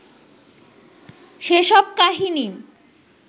সেসব কাহিনী